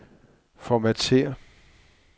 Formatér.